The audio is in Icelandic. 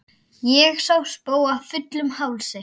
Sá ég spóa fullum hálsi.